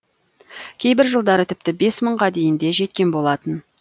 кейбір жылдары тіпті бес мыңға дейін де жеткен болатын